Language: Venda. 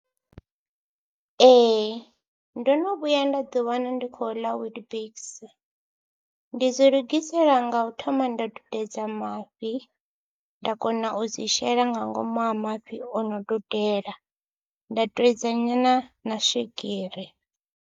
Ee ndo no vhuya nda ḓiwana ndi khou ḽa Weetbix, ndi dzi lugisela nga u thoma nda dudedza mafhi, nda kona u dzi shela nga ngomu ha mafhi o no dudela nda twedza nyana na swigiri.